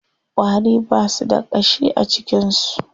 Ƙwari ba su da ƙashi a jikin su.